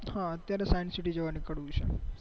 હા અત્યારે science city જવા નીકળવું છે